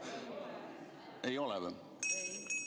Ei ole või?